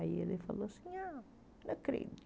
Aí ele falou assim ah,